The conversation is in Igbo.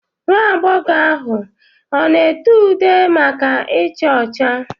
Nwa agbọghọ ahụ ọ na ete ude maka icha ọcha?